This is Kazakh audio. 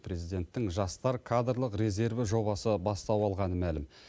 президенттің жастар кадрлық резерві жобасы бастау алғаны мәлім